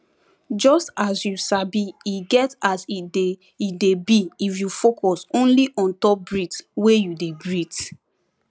just as you sabi e get as e dey e dey be if you focus only untop breath wey you dey breath